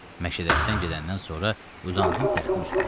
Məşədə Həsən gedəndən sonra uzandım taxtın üstünə.